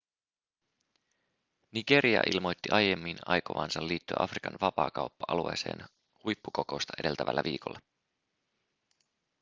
nigeria ilmoitti aiemmin aikovansa liittyä afrikan vapaakauppa-alueeseen huippukokousta edeltävällä viikolla